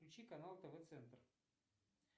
включи канал тв центр